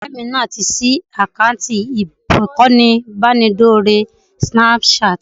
Ọ̀rẹ́ mi náà ti ṣí àkáǹtì ìkànnì ìbánidọ́rẹ̀ẹ́ Snapchat